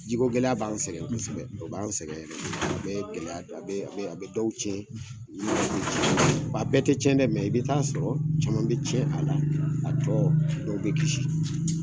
Ji ko gɛlɛya b'an sɛgɛn b'an sɛgɛn kosɛbɛ, o b'an sɛgɛn yɛrɛ de, o bɛ ye gɛlɛya, a be a be a be dɔw cɛn a bɛ te cɛn dɛ i bi taa sɔrɔ caman be cɛn a la, a tɔ dɔw bɛ kisi